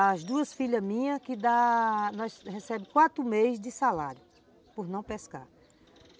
As duas filhas minhas que da... Nós recebemos quatro meses de salário por não pescarmos.